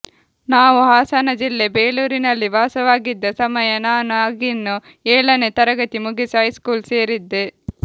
ನಾವು ಹಾಸನಜಿಲ್ಲೆ ಬೇಲೂರಿನಲ್ಲಿ ವಾಸವಾಗಿದ್ದ ಸಮಯ ನಾನು ಆಗಿನ್ನು ಏಳನೇ ತರಗತಿ ಮುಗಿಸಿ ಹೈಸ್ಕೂಲ್ ಸೇರಿದ್ದೆ